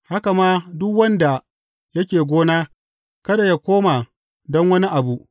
Haka ma duk wanda yake gona, kada yă koma don wani abu.